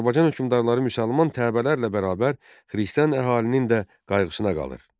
Azərbaycan hökmdarları müsəlman təbəələrlə bərabər xristian əhalinin də qayğısına qalır.